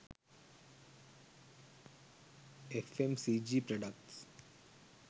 fmcg products